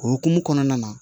O hukumu kɔnɔna na